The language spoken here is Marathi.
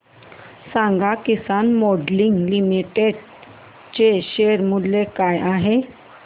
सांगा किसान मोल्डिंग लिमिटेड चे शेअर मूल्य काय आहे